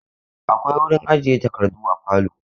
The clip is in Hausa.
Akwai wurin ajiye takardu a falo.